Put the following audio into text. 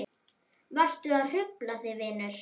Varstu að hrufla þig vinur?